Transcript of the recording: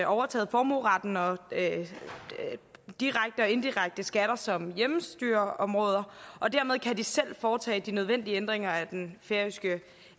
overtaget formueretten og direkte og indirekte skatter som hjemmestyreområde og dermed kan de selv foretage de nødvendige ændringer af den færøske